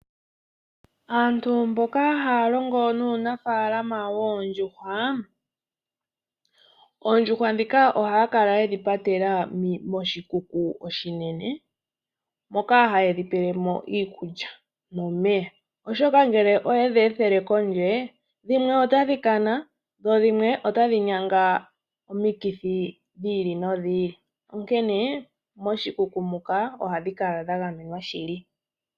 Aantu mboka yena uunafalama woondjuhwa, oondjuhwa ohadhi kala dhapatelwa moshikuku oshinene moka haye dhipelemo iikulya nomeya, oshoka ngele oyedhethele kondje dhimwe otadhi kana dho dhimwe otadhi nyanga omikithi dhiili no dhiili onkene ngele dhili moshikuku ohadhi kala dha gamenwa shili.